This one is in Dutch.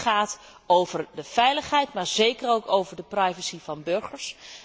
Dit gaat over de veiligheid, maar zeker ook over de privacy van burgers.